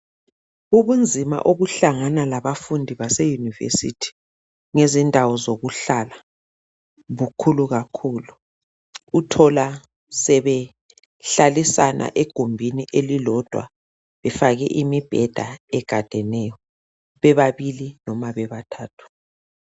Ubunzima obuhlangana labafundi baseyunivesithi ngezindawo zokuhlala bukhulu kakhulu uthola sebehlalisana egumbini elilodwa befake imibheda egadeneyo bebabili noma bebathathu.